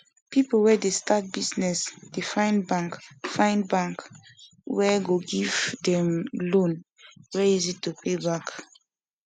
people wey dey start business dey find bank find bank wey go give dem loan wey easy to pay back